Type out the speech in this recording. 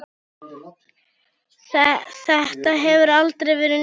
Þetta hefur aldrei verið nýtt.